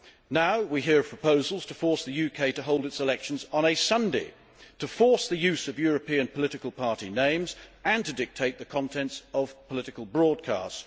Now we hear of proposals to force the UK to hold its elections on a Sunday, to force the use of European political party names and to dictate the contents of political broadcasts.